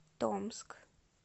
томск